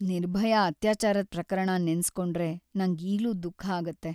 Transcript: ನಿರ್ಭಯಾ ಅತ್ಯಾಚಾರದ್ ಪ್ರಕರಣ ನೆನ್ಸ್‌ಕೊಂಡ್ರೆ ನಂಗೀಗ್ಲೂ ದುಃಖ ಆಗುತ್ತೆ.